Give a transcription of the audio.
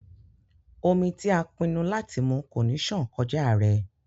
Omí ti a pinnu láti mú ko ní ṣan kọja rẹ.